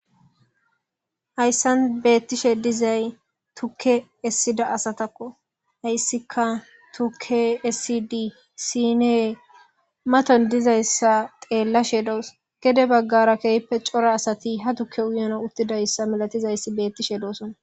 Hayssan beettishe dizay tukke essida asatakko hayssika tuke essidi siinee maton dizayssa teellashe doos gede baggara keehppe cora asati ha tukke uyono uttidayssa milatizayssi beettishe doosona.